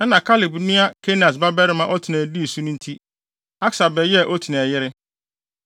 Ɛnna Kaleb nua Kenas babarima Otniel dii so nti, Aksa bɛyɛɛ Otniel yere.